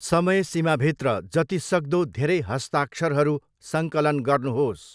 समयसीमाभित्र जतिसक्दो धेरै हस्ताक्षरहरू सङ्कलन गर्नुहोस्।